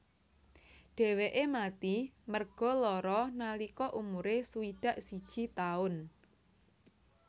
Dheweke mati merga lara nalika umure swidak siji taun